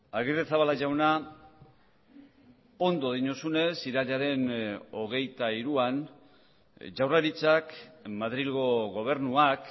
agirrezabala jauna ondo diozunez irailaren hogeita hiruan jaurlaritzak madrilgo gobernuak